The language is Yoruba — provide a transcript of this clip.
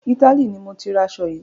Italy ni mọ tí ra aṣo yìí.